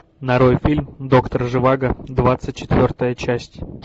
нарой фильм доктор живаго двадцать четвертая часть